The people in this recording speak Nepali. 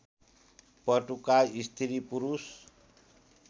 पटुका स्त्री पुरुष